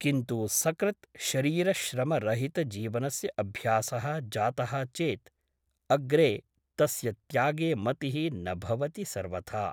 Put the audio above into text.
किन्तु सकृत् शरीरश्रमरहितजीवनस्य अभ्यासः जातः चेत् अग्रे तस्य त्यागे मतिः न भवति सर्वथा ।